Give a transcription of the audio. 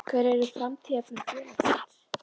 Hver eru framtíðarplön félagsins?